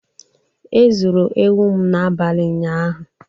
E zuru ewu m n'abalị ụnyaahụ.